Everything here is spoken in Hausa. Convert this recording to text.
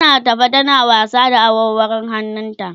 tana tafe tana wasa da awarwarun hannun ta